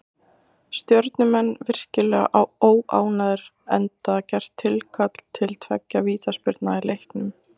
Stjörnumenn virkilega óánægðir enda gert tilkall til tveggja vítaspyrna í leiknum.